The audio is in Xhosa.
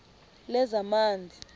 lezamanzi